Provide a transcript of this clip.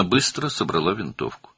O, cəld tüfəngini yığışdırdı.